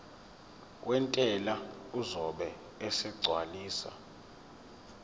wentela uzobe esegcwalisa